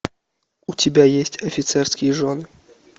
у тебя есть офицерские жены